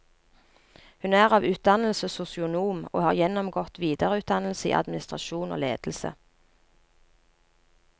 Hun er av utdannelse sosionom, og har gjennomgått videreutdannelse i administrasjon og ledelse.